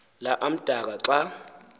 la amdaka xa